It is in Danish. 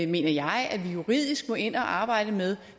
mener jeg at vi juridisk må ind og arbejde med